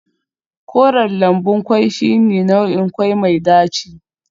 Koren lambun kwai shine nau'in kwai mai daci